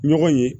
Ɲɔgɔn ye